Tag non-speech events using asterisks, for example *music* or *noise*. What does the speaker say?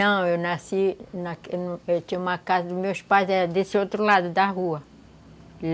Não, eu nasci... *unintelligible* Eu tinha uma casa dos meus pais, era desse outro lado da rua.